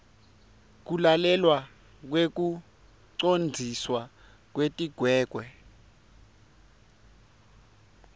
kulalelwa kwekucondziswa kwetigwegwe